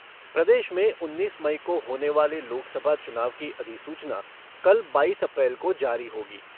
प्रदेश में उन्नीस मई को होने वाले लोकसभा चुनाव की अधिसूचना कल बाईस अप्रैल को जारी होगी।